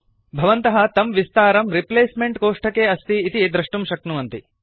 भवन्तः तं विस्तारं रिप्लेस्मेंट कोष्ठके अस्ति इति दृष्टुं शक्नुवन्ति